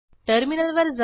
टर्मिनलवर जा